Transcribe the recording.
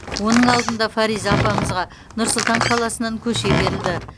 оның алдында фариза апамызға нұр сұлтан қаласынан көше берілді